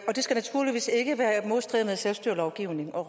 skal naturligvis ikke være i modstrid med selvstyrelovgivningen og